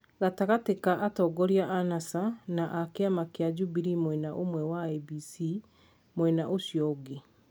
gatagatĩ ka atongoria a NASA na a kĩama kĩa Jubilee mwena ũmwe na IEBC mwena ũcio ũngĩ.